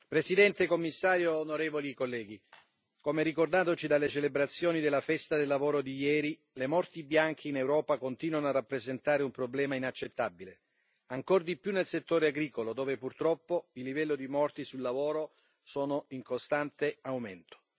Signor Presidente, onorevoli colleghi, signor Commissario, come ricordatoci dalle celebrazioni della Festa del Lavoro di ieri, le morti bianche in Europa continuano a rappresentare un problema inaccettabile, ancor di più nel settore agricolo, dove purtroppo il livello di morti sul lavoro è in costante aumento.